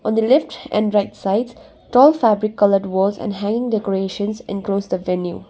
on the left and right side tall fabric coloured walls and hanging decorations enclose the venue.